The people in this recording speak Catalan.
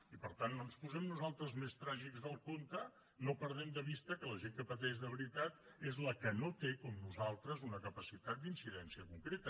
i per tant no ens posem nosaltres més tràgics del compte no perdem de vista que la gent que pateix de veritat és la que no té com nosaltres una capacitat d’incidència concreta